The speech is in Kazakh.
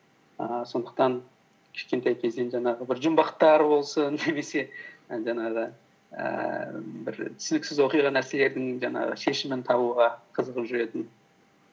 ііі сондықтан кішкентай кезден жаңағы бір жұмбақтар болсын немесе і жаңағы ііі бір түсініксіз оқиға нәрселердің жаңағы шешімін табуға қызығып жүретінмін